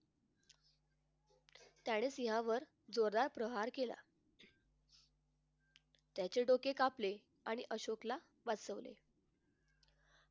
त्याने सिंहावर जोरदार प्रहार केला. त्याचे डोके कापले आणि अशोकला वाचवले